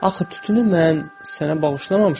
Axı tütünü mən sənə bağışlamamışam.